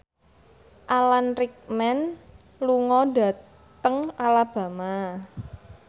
Alan Rickman lunga dhateng Alabama